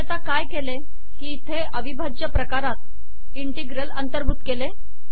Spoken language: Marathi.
मी आता काय केले इथे अविभाज्य प्रकारात इंटिग्रल अंतर्भूत केले